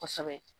Kosɛbɛ